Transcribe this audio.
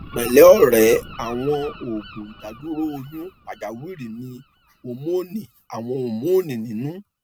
pẹlẹ ọrẹ àwọn òògùn ìdádúró oyún pàjáwìrì ní hómónì àwọn hómónì nínú